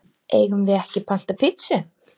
Eigum við ekki panta pitsu?